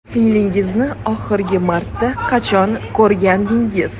Singlingizni oxirgi marta qachon ko‘rgandingiz?